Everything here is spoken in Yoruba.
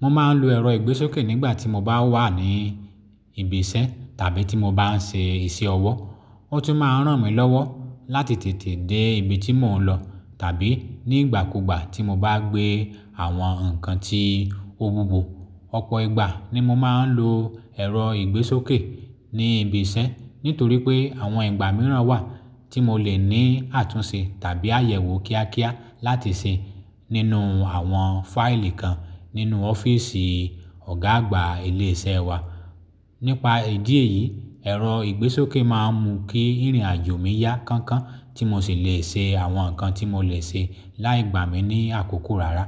Mo máa ń lo ẹ̀rọ ìgbésókè nígbà tí mo bá wà ní ibi iṣẹ́ tàbí tí mo bá ń ṣe iṣẹ́ ọwọ́. Ó tún máa ń ràn mí lọ́wọ́ láti tètè dé ibi tí mò ń lọ tàbí nígbàkúgbà tí mo bá gbé àwọn nǹkan tí òwúwo. Ọ̀pọ̀ ìgbà ni mo máa ń lo ẹ̀rọ ìgbésókè ní ibi iṣẹ́ nítorí pé àwọn ìgbà mìíràn wà tí mo lè ní àtúnṣe tàbí àyẹ̀wò kíákíá láti ṣe nínú àwọn fáìlì kan nínú ọ́fíìsì Ọ̀gá àgbà ilé iṣẹ́ wa. Nípa ìdí èyí, ẹ̀rọ ìgbésókè máa ń mú kí ìrìnàjò mi yá kánkán tí mo sì le ṣe àwọn nǹkan tí mo lè ṣe láì gbà mí ní àkókò rárá.